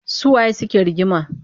Su waye suke rigima?